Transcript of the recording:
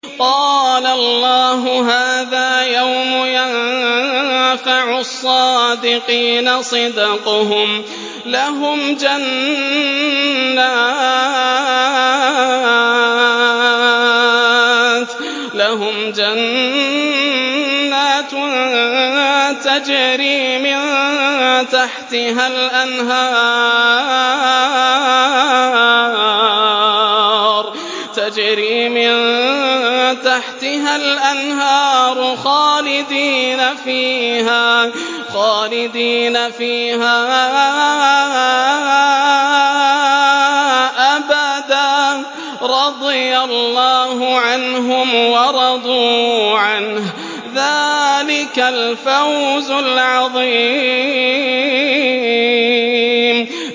قَالَ اللَّهُ هَٰذَا يَوْمُ يَنفَعُ الصَّادِقِينَ صِدْقُهُمْ ۚ لَهُمْ جَنَّاتٌ تَجْرِي مِن تَحْتِهَا الْأَنْهَارُ خَالِدِينَ فِيهَا أَبَدًا ۚ رَّضِيَ اللَّهُ عَنْهُمْ وَرَضُوا عَنْهُ ۚ ذَٰلِكَ الْفَوْزُ الْعَظِيمُ